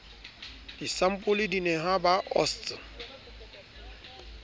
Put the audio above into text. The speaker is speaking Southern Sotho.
disampole di nehwa ba osts